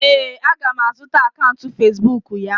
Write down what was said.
ee, a ga m azụta akaụntụ Facibụkụ ya.